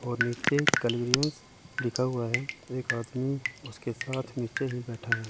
और नीचे क्लियरेंस लिखा हुआ है एक आदमी उसके साथ नीचे ही बैठा है।